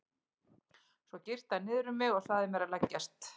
Svo girti hann niður um mig og sagði mér að leggjast.